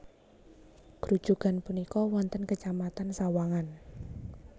Grujugan punika wonten kecamatan Sawangan